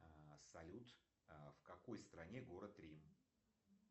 салют в какой стране город рим